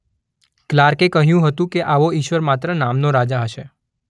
ક્લાર્કે કહ્યું હતું કે આવો ઈશ્વર માત્ર નામનો રાજા હશે